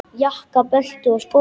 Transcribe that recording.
Jakka, belti og skó.